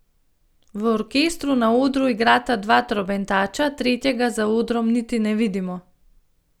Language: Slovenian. V orkestru na odru igrata dva trobentača, tretjega za odrom niti ne vidimo.